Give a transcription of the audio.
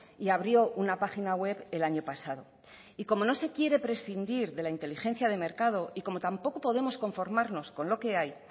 y abrió una página web el año pasado y como no se quiere prescindir de la inteligencia de mercado y como tampoco podemos conformarnos con lo que hay